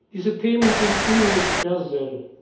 angehen. Diese Themen sind universell.